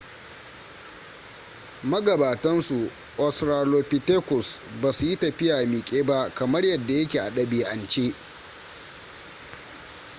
magabatan su australopithecus ba su yi tafiya miƙe ba kamar yadda ya ke a ɗabi'ance